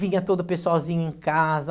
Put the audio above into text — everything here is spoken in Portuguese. Vinha todo o pessoalzinho em casa.